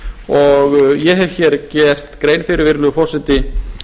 og ég hef hér gert grein fyrir virðulegi forseti